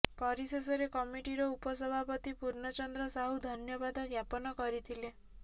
ପରିଶେଷରେ କମିଟିର ଉପସଭାପତି ପୂର୍ଣ୍ଣଚନ୍ଦ୍ର ସାହୁ ଧନ୍ୟବାଦ ଜ୍ଞାପନ କରିଥିଲେ